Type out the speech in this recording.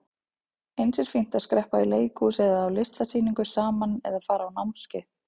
Eins er fínt að skreppa í leikhús eða á listasýningu saman eða fara á námskeið.